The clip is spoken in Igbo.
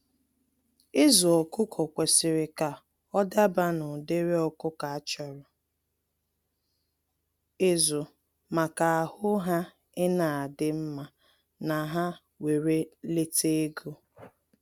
Ịzụ ọkụkọ kwesịrị ka ọ dabaa na ụdịrị ọkụkọ a chọrọ ịzụ maka ahụ ha ina adị mma na ha were lete ego.